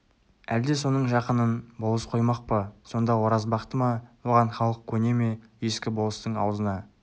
әлде соның жақынын болыс қоймақ па сонда оразбақты ма оған халық көне ме ескі болыстың аузына